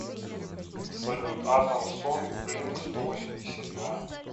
салют адамс сонг блинк сто восемьдесят два